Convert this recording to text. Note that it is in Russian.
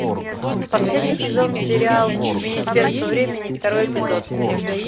последний сезон сериал министерство времени второй эпизод